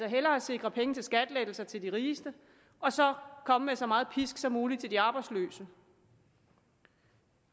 hellere sikre penge til skattelettelser til de rigeste og så komme med så meget pisk som muligt af de arbejdsløse